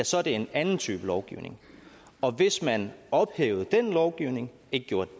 så er det en anden type lovgivning og hvis man ophævede den lovgivning ikke gjorde